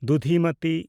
ᱫᱩᱫᱷᱤᱢᱟᱛᱤ